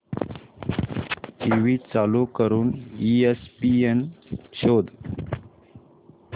TV चालू करून ESPN शोध